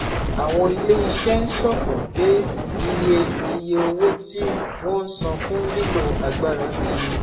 Àwọn ilé-iṣẹ́ ń ṣọ̀fọ̀ pé iye iye owó tí wọ́n ń san fún lílo agbára ti